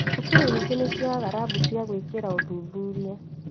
Cukuru nyingĩ nĩciagaga rambu cia gwĩkĩra uthuthuria